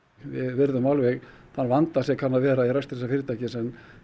við virðum alveg þann vanda sem kann að vera í rekstri þessa fyrirtækis en